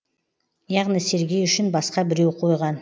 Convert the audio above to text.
яғни сергей үшін басқа біреу қойған